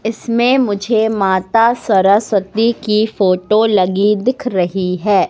इसमें मुझे माता सरस्वती की फोटो लगी दिख रही हैं।